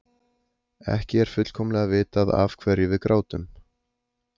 Ekki er fullkomlega vitað af hverju við grátum.